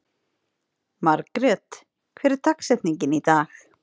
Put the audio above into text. Margret, hver er dagsetningin í dag?